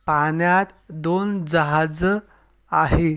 पाण्यात दोन जहाज आहे.